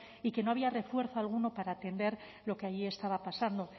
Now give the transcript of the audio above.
y que no había refuerzo alguno para atender lo que allí estaba pasando